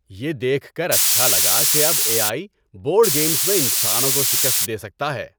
یہ دیکھ کر اچھا لگا کہ اب اے آئی بورڈ گیمز میں انسانوں کو شکست دے سکتا ہے۔